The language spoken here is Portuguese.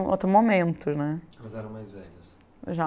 outro momento, né? Elas eram mais velhas? Já